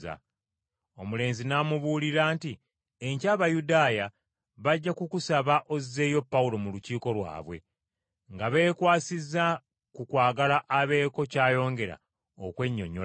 Omulenzi n’amubuulira nti, “Enkya Abayudaaya bajja kukusaba ozzeeyo Pawulo mu Lukiiko lwabwe, nga beekwasiza ku kwagala abeeko ky’ayongera okwennyonnyolako.